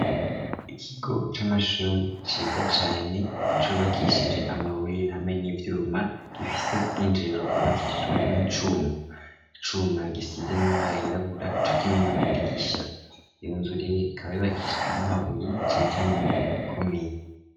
Ikigo c'amashuri ciza cane cubakishije amabuye hamwe n'ivyuma gifise ubw'injiriro bwubakishijwe n'icuma, Icuma gisize n'amabara yirabura co kimwe n'amadirisha iyo nzu rero ikaba yubakishijwe n'amabuye cane cane amabuye aba akomeye.